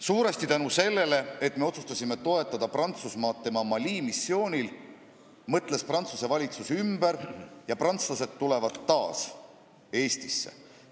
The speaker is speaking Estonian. Suuresti tänu sellele, et me otsustasime toetada Prantsusmaad tema Mali missioonil, mõtles Prantsuse valitsus ümber ja prantslased tulevad taas Eestisse.